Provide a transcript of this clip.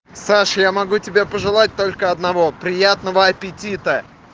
саш я могу тебе пожелать только одного приятного аппетита